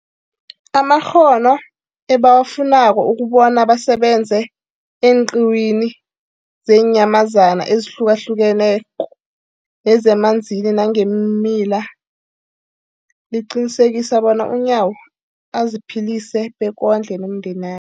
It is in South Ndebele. amakghono ebawafunako ukobana basebenze eenqiwini zeenyamazana ezihlukahlukeneko nezemanzini nangeemila, liqinisekisa bona uNyawo aziphilise bekondle nomndena